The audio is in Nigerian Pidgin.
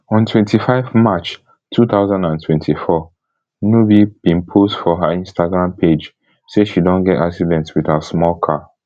on twenty-five march two thousand and twenty-four nubi bin post for her instagram page say she don get accident wit her small car